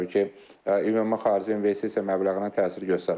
Bu da təbii ki, ümumi xarici investisiya məbləğinə təsir göstərir.